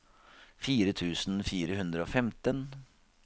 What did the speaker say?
fire tusen fire hundre og femten